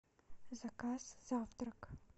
заказ завтрак